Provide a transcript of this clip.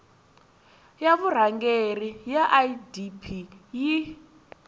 ya vurhangeri ya idp yi